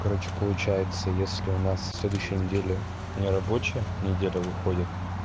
короче получается если у нас со следующей недели нерабочая неделя выходит